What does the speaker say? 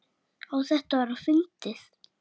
Á þetta að vera fyndið?